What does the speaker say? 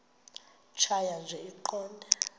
tjhaya nje iqondee